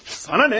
Sənə nə?